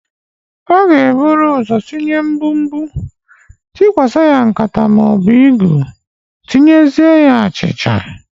A g'eburu ụzọ sinye mgbumgbu, tukwasa ya nkata maọbụ igu tinyezie achicha.